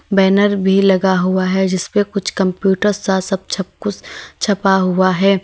Banner भी लगा हुआ है जिस पर कुछ कंप्यूटर सा सब छप कुछ छपा हुआ है।